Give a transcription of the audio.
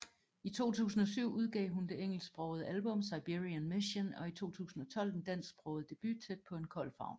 I 2007 udgav hun det engelsksprogede album Siberian Mission og i 2012 den dansksprogede debut Tæt På En Kold Favn